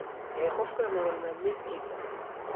ee qofka nolol maalmeedkiisa.